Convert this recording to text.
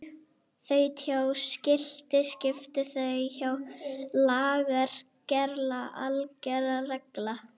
Þaut hjá skilti skilti þaut hjá LAGER GERLA ALGER REGLA